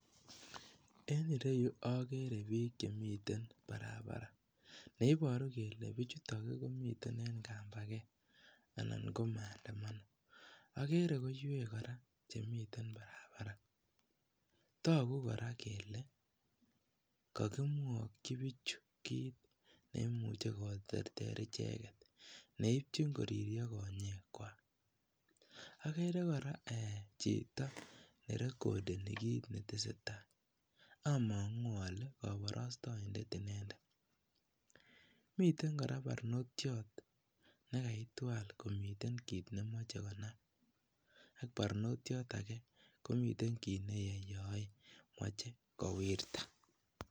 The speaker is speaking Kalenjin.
En ireyu okere biik chemiten barabara neiboru kelee bichutok komiten en kambaket anan ko maandamano, okere koiwek kora chemiten barabara, tokuu kora kelee kokimwokyi bichu kiit neimuche keterter icheket , neityin koririo konyekwak, akere kora eeh chito nerekodeni kiit neteseta, among'u olee koborostoindet inendet, miten kora barnotiot nekaitwal komiten kiit nemoche konam ak barnotiot akee komiten kiit neyoyoe moche kowirta.